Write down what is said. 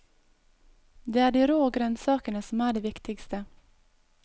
Det er de rå grønnsakene som er det viktigste.